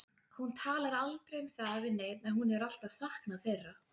Hún talar aldrei um það við neinn að hún hefur alltaf saknað þeirra.